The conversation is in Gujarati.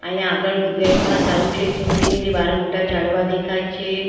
અહીંયા આગળ ગેટ માં સારું છે સીન સિનેરી બાર મોટા ઝાડવા દેખાય છે.